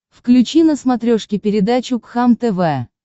включи на смотрешке передачу кхлм тв